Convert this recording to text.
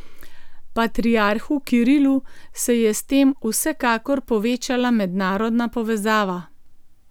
Patriarhu Kirilu se je s tem vsekakor povečala mednarodna povezava.